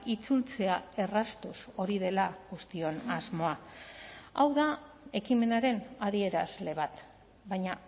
itzultzea erraztuz hori dela guztion asmoa hau da ekimenaren adierazle bat baina